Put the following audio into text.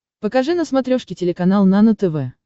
покажи на смотрешке телеканал нано тв